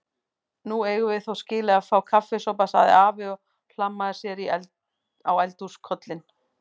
Nú eigum við þó skilið að fá kaffisopa sagði afi og hlammaði sér á eldhúskollinn.